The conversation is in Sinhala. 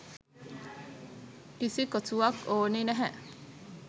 කිසි කොසුවක් ඕනේ නැහැ.